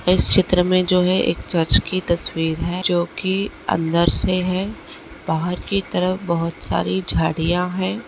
इस चित्र मे जो है एक चर्च दिख रहा है जो कि अंदर से है बाहर की तरफ बहोत सारी झाड़ियाँ है।